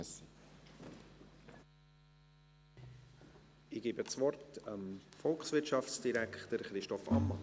Ich gebe das Wort dem Volkswirtschaftsdirektor Christoph Ammann.